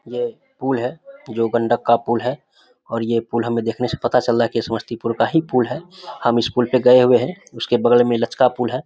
ये पुल है जो गंडक का पुल है और ये पुल हमें देखने से हमें पता चल रहा है कि ये समस्तीपुर का ही पुल है। हम इस पुल में गए हुए हैं। इसके बगल मन लचका पुल है।